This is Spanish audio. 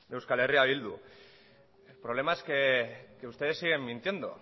de euskal herria bildu el problema es que ustedes siguen mintiendo